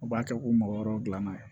U b'a kɛ ko mɔgɔ wɛrɛw dilanna yen